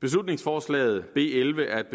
beslutningsforslaget b elleve er et